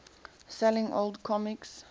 selling old comics